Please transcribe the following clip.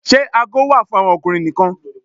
Ṣe aago wà fún àwọn ọkùnrin nìkan?